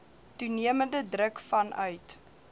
toenemende druk vanuit